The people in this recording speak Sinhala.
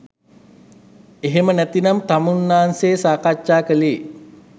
එහෙම නැතිනම් තමුන්නාන්සේ සාකච්ඡා කළේ